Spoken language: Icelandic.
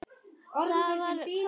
Það var kvöld.